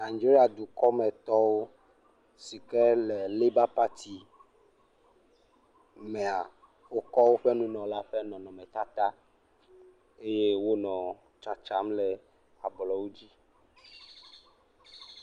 Nigeria dukɔmetɔwo si ke le leba pati mea wokɔ woƒe nunɔla ƒe nɔnɔmetata eye wonɔ tsatsam le ablɔwo dzi.